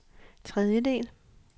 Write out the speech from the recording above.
tredjedel